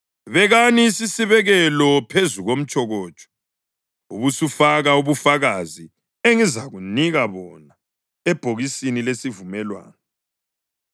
Bekani isisibekelo phezu komtshokotsho, ubusufaka ubufakazi engizakunika bona ebhokisini lesivumelwano.